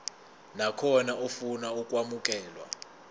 nakhona ofuna ukwamukelwa